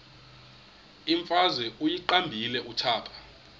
imfazwe uyiqibile utshaba